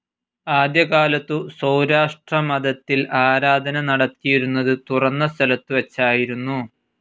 ആദ്യകാലത്തു സൗരാഷ്ട്രമതത്തിൽ ആരാധന നടത്തിയിരുന്നത് തുറന്ന സ്ഥലത്തു വെച്ചായിരുന്നു